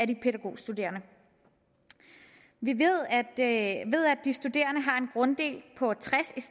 de pædagogstuderende vi ved at ved at de studerende har en grunddel på